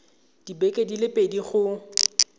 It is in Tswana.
dibeke di le pedi go